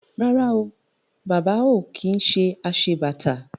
Rárá o, Bàbá ò kí ń ṣe aṣebàtà